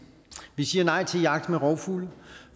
vi siger nej til jagt med rovfugle